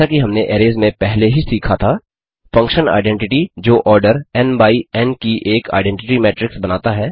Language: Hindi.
जैसा कि हमने अरैज में पहले ही सीखा था फंक्शन identity जो order n n by n की एक आईडेंटिटी मेट्रिक्स बनाता है